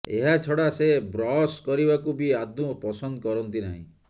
ଏହା ଛଡ଼ା ସେ ବ୍ରସ୍ କରିବାକୁ ବି ଆଦୌ ପସନ୍ଦ କରନ୍ତି ନାହିଁ